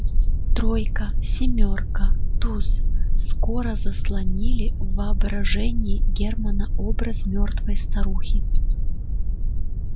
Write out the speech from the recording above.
тройка семёрка туз скоро заслонили в воображении германна образ мёртвой старухи